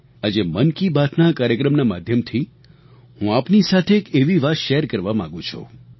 આજે મન કી બાતના આ કાર્યક્રમનાં માધ્યમથી હું આપની સાથે એક એવી વાત શેર કરવા માગું છું